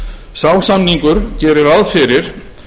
sá samningur gerir ráð fyrir